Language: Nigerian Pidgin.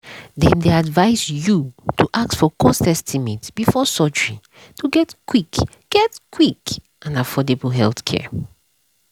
dem dey advise you to ask for cost estimate before surgery to get quick get quick and affordable healthcare.